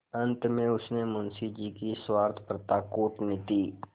अंत में उसने मुंशी जी की स्वार्थपरता कूटनीति